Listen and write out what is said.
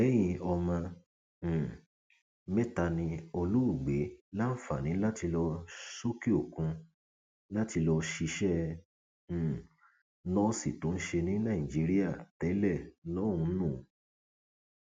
lẹyìn ọmọ um mẹta ni olóògbé láǹfààní láti lọ sọkẹòkun láti lọọ ṣiṣẹ um nọọsì tó ń ṣe ní nàìjíríà tẹlẹ lọhùnún